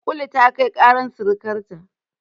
Kulu ta kai ƙarar sirikarta.